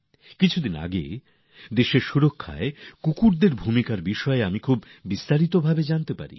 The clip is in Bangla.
কিছুদিন আগে দেশের নিরাপত্তায় কুকুরদের ভূমিকা সস্পর্কে বেশ বিস্তারিতভাবে জানার সুযোগ হল